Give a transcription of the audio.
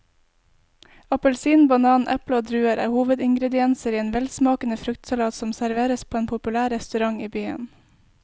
Appelsin, banan, eple og druer er hovedingredienser i en velsmakende fruktsalat som serveres på en populær restaurant i byen.